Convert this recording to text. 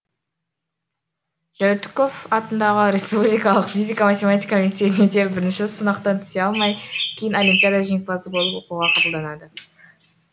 жәутіков атындағы республикалық физика математика мектебіне де бірінші сынақтан түсе алмай кейін олимпиада жеңімпазы болып оқуға қабылданады